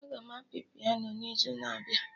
Aga m apị piano n'izu na-abịa